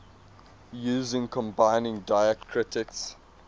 using combining diacritics